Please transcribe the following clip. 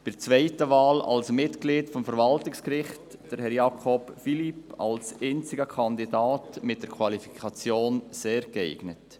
Bei der zweiten Wahl, ein Mitglied des Verwaltungsgerichts, unterstützen wir Herrn Philippe Jakob als einzigen Kandidaten mit der Qualifikation «sehr geeignet».